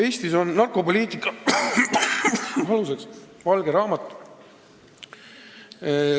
" Eestis on narkopoliitika aluseks valge raamat.